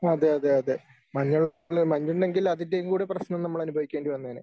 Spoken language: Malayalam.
അതെ അതെ അതെ മഞ്ഞു മഞ്ഞു ഉണ്ടെങ്കിൽ അതിൻ്റെയും കൂടി പ്രശ്നം നമ്മള് അനുഭവിക്കേണ്ടി വന്നേനെ